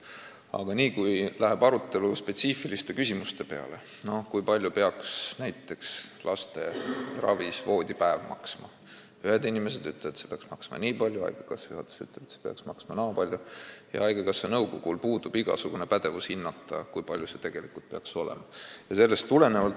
Aga niipea, kui arutelu läheb spetsiifiliste küsimuste peale, näiteks kui palju peaks maksma laste ravimisel voodipäev, siis ühed inimesed ütlevad, et see peaks maksma niipalju, haigekassa juhatus ütleb, et see peaks maksma naapalju, ja haigekassa nõukogul puudub igasugune pädevus hinnata, kui palju see tegelikult peaks maksma.